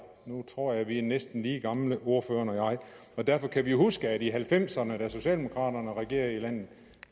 nu tror jeg vi er næsten lige gamle ordføreren og jeg og derfor kan vi huske at vi halvfemserne da socialdemokraterne regerede i landet